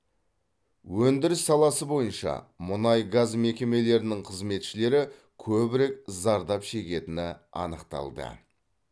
өндіріс саласы бойынша мұнай газ мекемелерінің қызметшілері көбірек зардап шегетіні анықталды